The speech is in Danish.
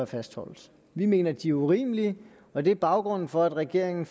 fastholdes vi mener at de er urimelige og det er baggrunden for at regeringen